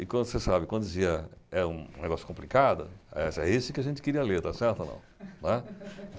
E, como você sabe, quando dizia, é um negócio complicado, é esse que a gente queria ler, está certo ou não?